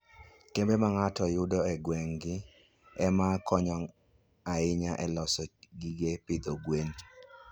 Kembe ma ng'ato yudo e gweng'gi ema konyo ahinya e loso gige pidho gwen.